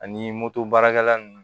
Ani moto baarakɛla ninnu